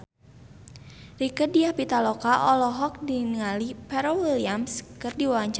Rieke Diah Pitaloka olohok ningali Pharrell Williams keur diwawancara